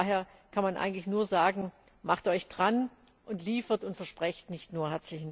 Von daher kann man eigentlich nur sagen Macht euch dran und liefert, und versprecht nicht nur!